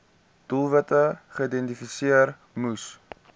doelwitte geïdentifiseer moes